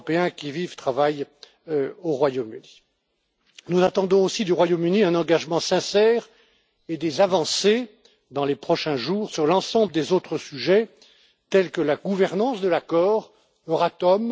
qui vivent et travaillent au Royaume Uni. Nous attendons aussi du Royaume Uni un engagement sincère et des avancées dans les prochains jours sur l'ensemble des autres sujets, tels que la gouvernance de l'accord Euratom.